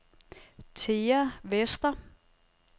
Thea Vester